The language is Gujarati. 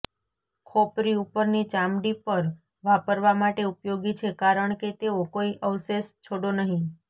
ખોપરી ઉપરની ચામડી પર વાપરવા માટે ઉપયોગી છે કારણ કે તેઓ કોઈ અવશેષ છોડો નહીં